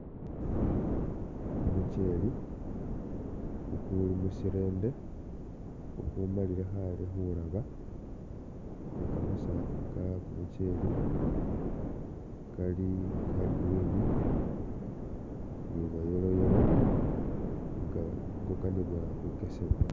Kumu chele kukuli mushirende ku kumalile khale khulaba, ni kamasaafu ke kumuchele Kali ka ka green ni bwa yellow yellow nga khe kukanibwa khukesebwa.